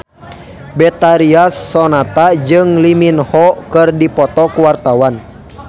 Betharia Sonata jeung Lee Min Ho keur dipoto ku wartawan